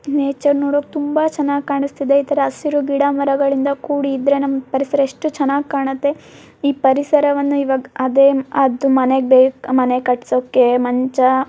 nature ನೋಡೋಕ್ ತುಂಬಾ ಚೆನ್ನಾಗ್ ಕಾಣಿಸ್ತಿದೆ ಈತರ ಹಸಿರು ಗಿಡಮರಗಳಿಂದ ಕೂಡಿದ್ರೆ ನಮ್ಮ್ ಪರಿಸರ ಎಷ್ಟು ಚೆನ್ನಾಗ್ ಕಾಣತ್ತೆ ಈ ಪರಿಸರವನ್ನ ಇವಾಗ್ ಅದೇ ಅದ್ ಮನೆಗ್ ಬೇಕ್ ಮನೆ ಕಟ್ಟಿಸೋಕ್ ಮಂಚ --